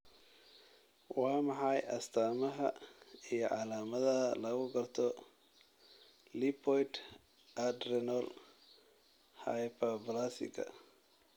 Waa maxay astamaha iyo calaamadaha lagu garto lipoid adrenal hyperplasiga?